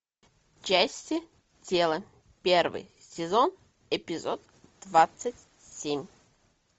части тела первый сезон эпизод двадцать семь